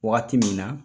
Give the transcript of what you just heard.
Waati min na